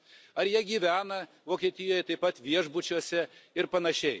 ar jie gyvena Vokietijoje, taip pat viešbučiuose ir panašiai.